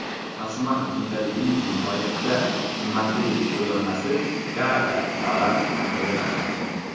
Tasman kundaligining nihoyatda qimmatli qo‘lyozmasi Gaaga davlat arxivida saqlanadi.